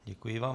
Děkuji vám.